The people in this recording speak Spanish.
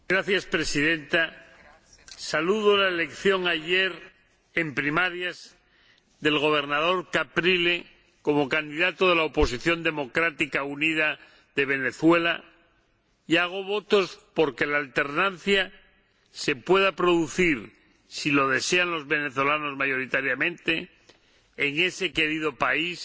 Señora Presidenta, acojo con satisfacción la elección ayer en primarias del Gobernador Capriles como candidato de la oposición democrática unida de Venezuela y hago votos por que la alternancia se pueda producir, si lo desean los venezolanos mayoritariamente, en ese querido país,